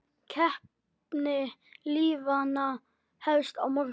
Keppni liðanna hefst á morgun.